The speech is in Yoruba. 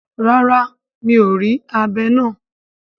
Rara, mi or ri abé naa